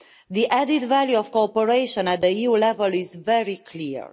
The added value of cooperation at EU level is very clear.